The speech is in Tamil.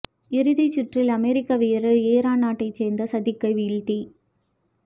இறுதிச் சுற்றில் அமரிக்க வீரர் ஈரான் நாட்டைச் சேர்ந்த சதிக்கை வீழ்த்தி